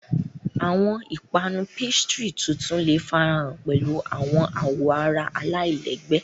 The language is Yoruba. Awọn ipanu pastry tuntun le farahan pẹlu awọn awoara alailẹgbẹ.